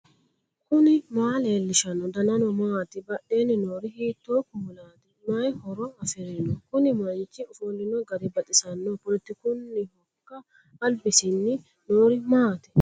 knuni maa leellishanno ? danano maati ? badheenni noori hiitto kuulaati ? mayi horo afirino ? kuni manchi ofollino gari baxisanno poletekunnihoikka albasiinni noori maati